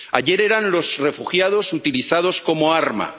Ayer eran los refugiados utilizados como arma.